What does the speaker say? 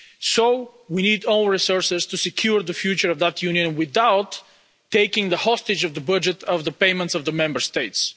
So we need own resources to secure the future of the Union without taking hostage the budget and the payments of the Member States.